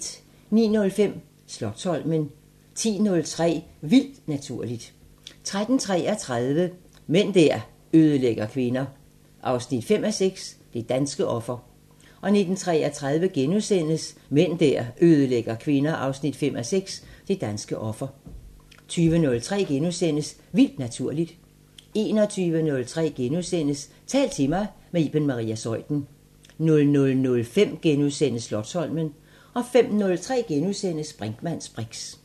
09:05: Slotsholmen 10:03: Vildt Naturligt 13:33: Mænd der ødelægger kvinder 5:6 – Det danske offer 19:33: Mænd der ødelægger kvinder 5:6 – Det danske offer * 20:03: Vildt Naturligt * 21:03: Tal til mig – med Iben Maria Zeuthen * 00:05: Slotsholmen * 05:03: Brinkmanns briks *